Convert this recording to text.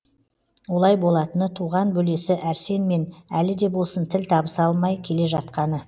олай болатыны туған бөлесі әрсенмен әлі де болсын тіл табыса алмай келе жатқаны